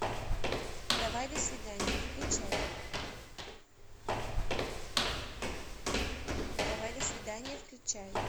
давай до свидания включай давай до свидания включай